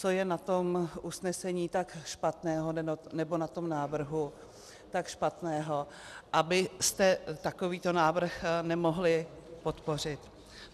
Co je na tom usnesení tak špatného, nebo na tom návrhu tak špatného, abyste takovýto návrh nemohli podpořit?